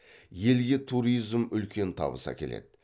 елге туризм үлкен табыс әкеледі